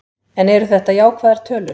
En eru þetta jákvæðar tölur?